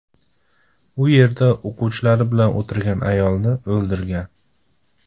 U yerda o‘quvchilari bilan o‘tirgan ayolni o‘ldirgan.